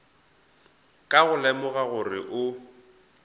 ka go lemoga gore o